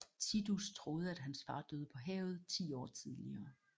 Tidus troede at hans far døde på havet ti år tidligere